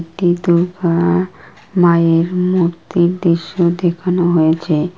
একটি দূর্গা-আ-আ মায়ের মূর্তির দৃশ্য দেখানো হয়েছে ।